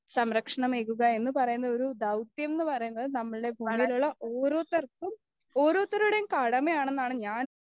സംരക്ഷണമേക്കുക എന്ന് പറയുന്നത് ഒരു ധൗത്യം എന്നുപറയുന്നത് നമ്മൾ ഭൂമിയിലുള്ള ഓരോത്തർക്കും ഓരോരുത്തരുടെയും കടമയാണെന്നാണ് ഞാൻ